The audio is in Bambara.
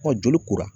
Ɔ joli kora